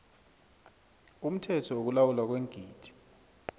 umthetho wokulawulwa kweengidi